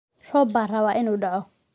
Roob baa raba inu dacoo.